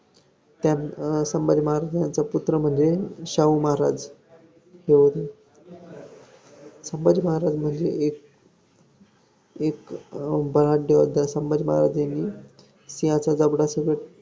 त्या~ संभाजी महाराजांचा पुत्र म्हणजे शाहू महाराज हे संभाजी महाराज म्हणजे एक एक बलाढय योद्धा संभाजी महाराज यांनी सिंहाच्या जबड्यासोबत